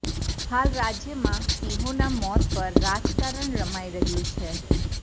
હાલ રાજ્યમાં સિંહોના મોત પર રાજકારણ રમાઇ રહ્યું છે